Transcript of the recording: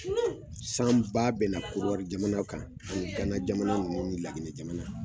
Sanba bɛna korowari jamanaw kan ani gana jamanaw ni lajinɛ jamanaw